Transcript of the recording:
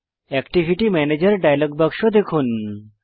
activity ম্যানেজের dialogue বাক্স দেখুন